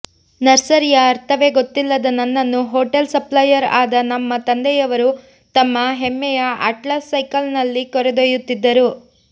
ನರ್ಸರಿಯ ಅರ್ಥವೇ ಗೊತ್ತಿಲ್ಲದ ನನ್ನನ್ನು ಹೊಟೇಲ್ ಸಪ್ಲೈಯರ್ ಆದ ನಮ್ಮ ತಂದೆಯವರು ತಮ್ಮ ಹೆಮ್ಮೆಯ ಅಟ್ಲಾಸ್ ಸೈಕಲ್ಲಿನಲ್ಲಿ ಕರೆದೊಯ್ಯುತ್ತಿದ್ದರು